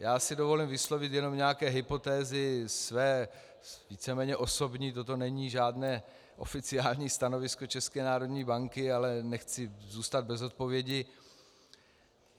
Já si dovolím vyslovit jenom nějaké hypotézy své víceméně osobní, toto není žádné oficiální stanovisko České národní banky, ale nechci zůstat bez odpovědi.